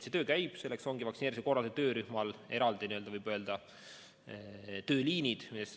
See töö käib, selleks on vaktsineerimise korraldamise töörühmal eraldi tööliinid.